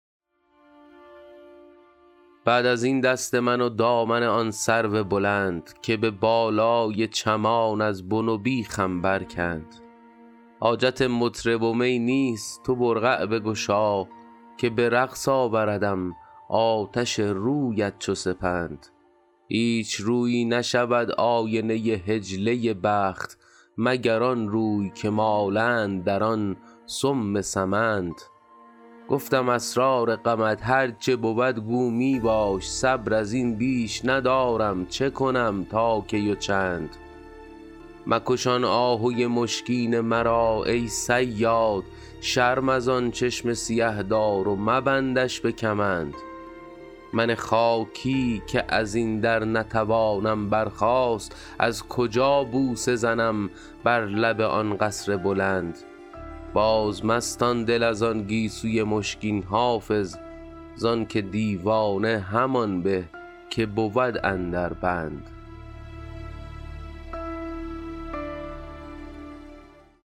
بعد از این دست من و دامن آن سرو بلند که به بالای چمان از بن و بیخم برکند حاجت مطرب و می نیست تو برقع بگشا که به رقص آوردم آتش رویت چو سپند هیچ رویی نشود آینه حجله بخت مگر آن روی که مالند در آن سم سمند گفتم اسرار غمت هر چه بود گو می باش صبر از این بیش ندارم چه کنم تا کی و چند مکش آن آهوی مشکین مرا ای صیاد شرم از آن چشم سیه دار و مبندش به کمند من خاکی که از این در نتوانم برخاست از کجا بوسه زنم بر لب آن قصر بلند بازمستان دل از آن گیسوی مشکین حافظ زان که دیوانه همان به که بود اندر بند